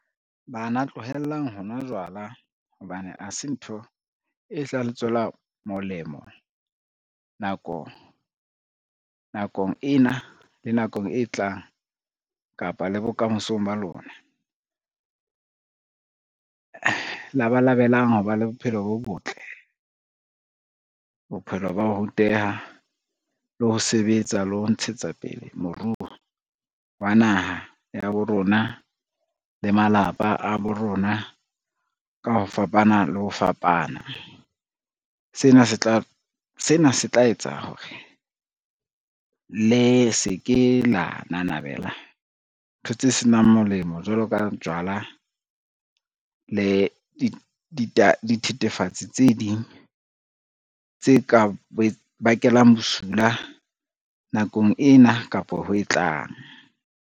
Bana tlohellang ho nwa jwala hobane ha se ntho e tla le tswela molemo nakong ena le nakong e tlang kapa le bokamosong ba lona. Labalabelang ho ba le bophelo bo botle, bophelo ba ho ruteha le ho sebetsa le ho ntshetsa pele moruo wa naha ya bo rona le malapa a bo rona ka ho fapana le ho fapana. Sena se tla etsa hore le se ke la namabela ntho tse senang molemo jwalo ka jwala le dithethefatsi tse ding tse ka bakelang bosula nakong ena kapa ho e tlang.